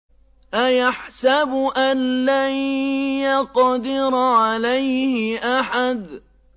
أَيَحْسَبُ أَن لَّن يَقْدِرَ عَلَيْهِ أَحَدٌ